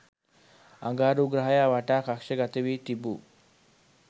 අඟහරු ග්‍රහයා වටා කක්ෂගතවී තිබූ